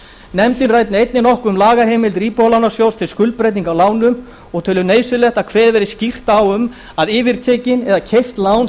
nefndin ræddi einnig nokkuð um lagaheimildir íbúðalánasjóðs til skuldbreytinga á lánum og telur nauðsynlegt að kveðið verði skýrt á um að yfirtekin eða keypt lán